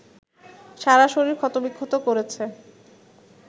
সারা শরীর ক্ষতবিক্ষত করেছে